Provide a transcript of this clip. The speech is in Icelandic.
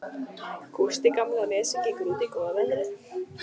Gústi gamli á Nesi gengur út í góða veðrið.